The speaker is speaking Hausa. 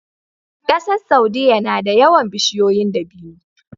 ƙasar saudia nada yawan bishiyoyin dabino